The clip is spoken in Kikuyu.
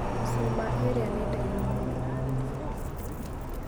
Cuma ĩrĩa nĩ ndaihu mũno.